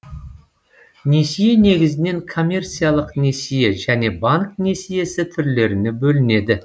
несие негізінен коммерциялық несие және банк несиесі түрлеріне бөлінеді